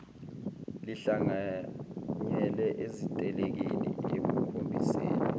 lihlanganyele ezitelekeni ekukhombiseni